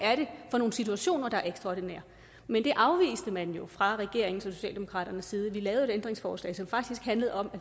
for nogle situationer der er ekstraordinære men det afviste man jo fra regeringens og socialdemokraternes side vi lavede et ændringsforslag som faktisk handlede om at